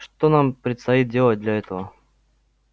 что нам предстоит делать для этого